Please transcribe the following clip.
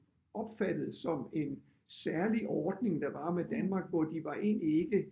Opfattet som en særlig ordning der var med Danmark hvor de var egentlig ikke